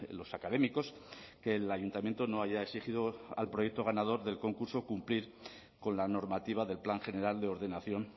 los académicos que el ayuntamiento no haya exigido al proyecto ganador del concurso cumplir con la normativa del plan general de ordenación